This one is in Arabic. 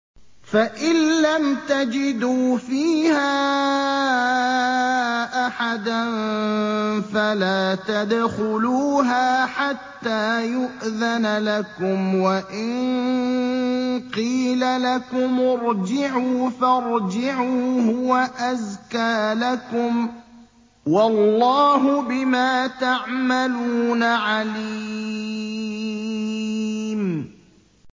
فَإِن لَّمْ تَجِدُوا فِيهَا أَحَدًا فَلَا تَدْخُلُوهَا حَتَّىٰ يُؤْذَنَ لَكُمْ ۖ وَإِن قِيلَ لَكُمُ ارْجِعُوا فَارْجِعُوا ۖ هُوَ أَزْكَىٰ لَكُمْ ۚ وَاللَّهُ بِمَا تَعْمَلُونَ عَلِيمٌ